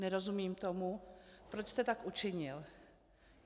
Nerozumím tomu, proč jste tak učinil.